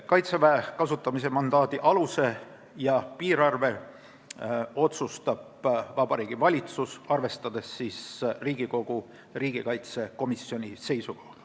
Kaitseväe kasutamise mandaadi aluse ja piirarvu otsustab Vabariigi Valitsus, arvestades Riigikogu riigikaitsekomisjoni seisukohaga.